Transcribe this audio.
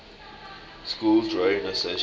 schools rowing association